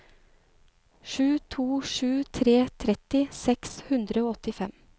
sju to sju tre tretti seks hundre og åttifem